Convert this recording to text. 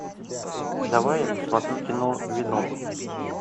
давай я посмотрю кино веном